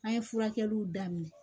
An ye furakɛliw daminɛ